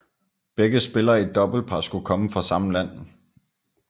Begge spillere i et doublepar skulle komme fra samme land